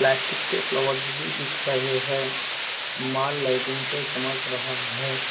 Plastic के flowers भी दिख रहे हैं मॉल लाइटिंग से चमक रहा है।